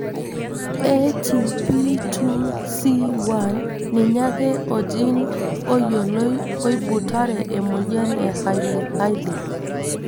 ATP2C1 ninye ake ogene oyioloi oibutare emoyian e Hailey Hailey.